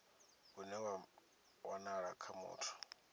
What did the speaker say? une wa wanala kha muthu